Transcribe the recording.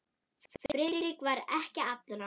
Friðrik var ekki allra.